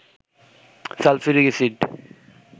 sulphuric acid